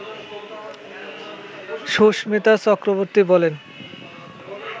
সুস্মিতা চক্রবর্তী বলেন